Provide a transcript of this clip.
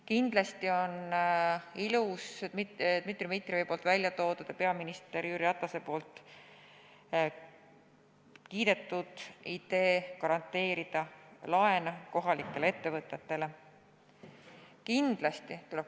Kindlasti on ilus Dmitri Dmitrijevi esitatud ja peaminister Jüri Ratase kiidetud idee garanteerida kohalike ettevõtete laene.